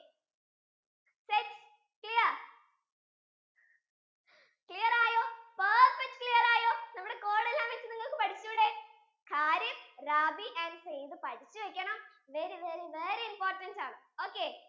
set clear? clear ആയോ perfect clear ആയോ നമ്മുടെ code അനുസരിച്ചു നിങ്ങൾക്കു പടിച്ചൂടേ kharif, rabi and zaid പഠിച്ചു വെക്കണം very very very important ആണ്